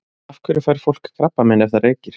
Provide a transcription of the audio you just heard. Af hverju fær fólk krabbamein ef það reykir?